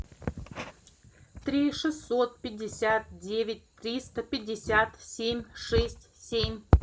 три шестьсот пятьдесят девять триста пятьдесят семь шесть семь